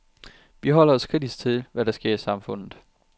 Vi forholder os kritisk til, hvad der sker i samfundet.